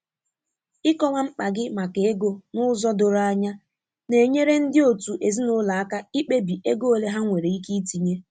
Ịkọwa mkpa gị maka ego n'ụzọ doro anya na-enyere ndị òtù ezinụlọ aka ikpebi ego ole ha nwere ike itinye.